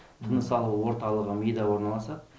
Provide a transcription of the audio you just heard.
тыныс алу орталығы мида орналасады